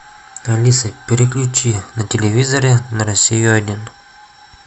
алиса переключи на телевизоре на россию один